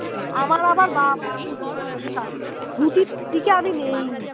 দিকে আমি নেই